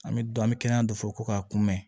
An bɛ don an bɛ kɛnɛya dɔ fɔ ko k'a kunbɛn